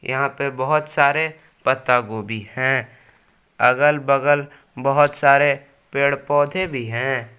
यहां पे बहोत सारे पत्ता गोभी हैं अगल बगल बहोत सारे पेड़ पौधे भी हैं।